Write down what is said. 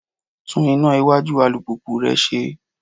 Tún iná iwájú alùpùpù rẹ ṣe.